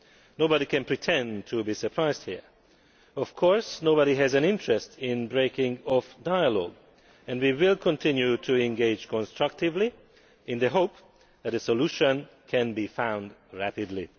Nobody can pretend to be surprised here. Of course, nobody has an interest in breaking off dialogue, and we will continue to engage constructively in the hope that a solution can be found rapidly.